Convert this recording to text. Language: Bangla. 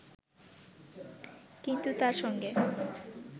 কিন্তু তার সঙ্গে